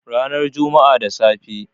Ranar Juma'a da safe.